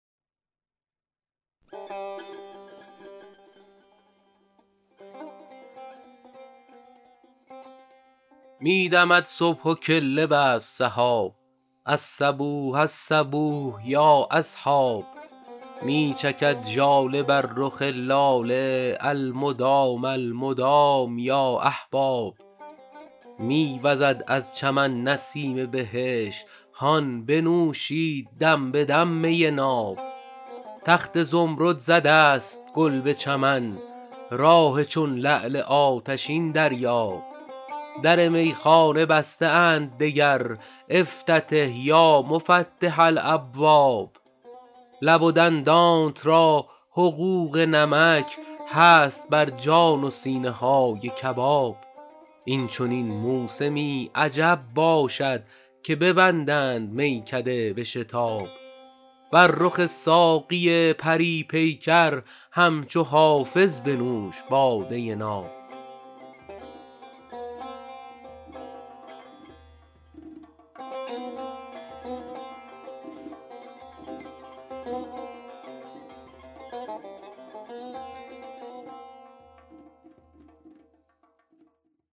می دمد صبح و کله بست سحاب الصبوح الصبوح یا اصحاب می چکد ژاله بر رخ لاله المدام المدام یا احباب می وزد از چمن نسیم بهشت هان بنوشید دم به دم می ناب تخت زمرد زده است گل به چمن راح چون لعل آتشین دریاب در میخانه بسته اند دگر افتتح یا مفتح الابواب لب و دندانت را حقوق نمک هست بر جان و سینه های کباب این چنین موسمی عجب باشد که ببندند میکده به شتاب بر رخ ساقی پری پیکر همچو حافظ بنوش باده ناب